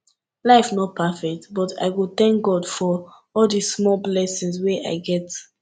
life no perfect but i go tank god for all di small blessings wey i get